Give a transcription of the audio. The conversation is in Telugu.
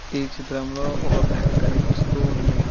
ఈ చిత్రంలో ఒక బ్యాంకు కనిపిస్తోంది.